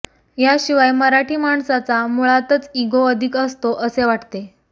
याशिवाय मराठी माणसाचा मुळातच इगो अधिक असतो असे वाटते